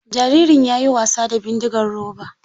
Jaririn ya yi wasa da bindigar roba.